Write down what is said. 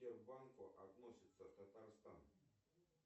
к сбербанку относится татарстан